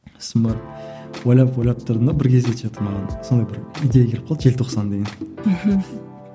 сосын барып ойлап ойлап тұрдым да бір кезде что то маған сондай бір идея келіп қалды желтоқсан деген мхм